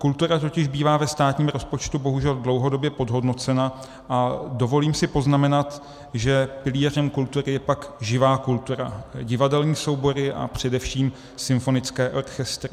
Kultura totiž bývá ve státním rozpočtu bohužel dlouhodobě podhodnocena, a dovolím si poznamenat, že pilířem kultury je pak živá kultura, divadelní soubory a především symfonické orchestry.